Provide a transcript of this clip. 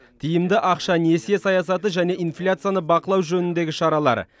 тиімді ақша несие саясаты және инфляцияны бақылау жөніндегі шаралар